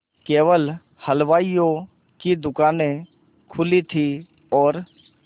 केवल हलवाइयों की दूकानें खुली थी और